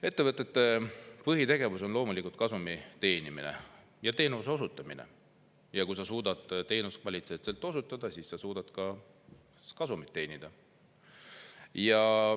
Ettevõtete põhitegevus on loomulikult kasumi teenimine ja teenuste osutamine, kui sa suudad teenust kvaliteetselt osutada, siis sa suudad ka kasumit teenida.